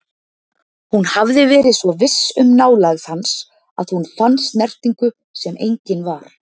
Hún hafði verið svo viss um nálægð hans að hún fann snertingu sem engin var.